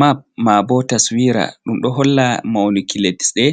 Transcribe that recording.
Mapp ma bo taswira ɗum ɗo holla mauniki lesde